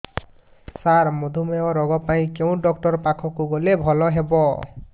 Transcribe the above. ସାର ମଧୁମେହ ରୋଗ ପାଇଁ କେଉଁ ଡକ୍ଟର ପାଖକୁ ଗଲେ ଭଲ ହେବ